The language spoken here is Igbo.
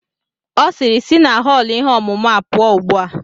Ọ sịịrị, sị na họọlụ ihe ọmụmụ a pụọ ugbu a!